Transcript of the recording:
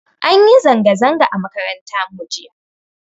An yi zanga zanga a makaranta mu jiya